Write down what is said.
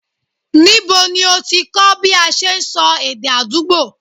Ńibo ní ọ ti kọ́ bí a ṣe sọ èdè àdúgbò?